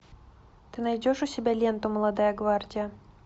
ты найдешь у себя ленту молодая гвардия